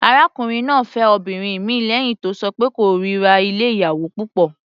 Arákùnrin náà fẹ́ obìnrin mìíràn lẹ́hìn tó ṣọ pé òun kórira ilé oníyàwò púpọ̀.